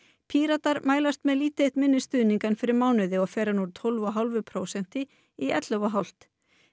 Píratar mælast með lítið eitt minni stuðning en fyrir mánuði og fer hann úr tólf og hálfu prósenti í ellefu og hálft